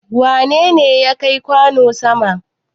Wane ne ya kai kwano sama?